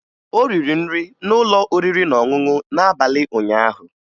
O riri nri n'ụlọ oriri na ọṅụṅụ n'abalị ụnyaahụ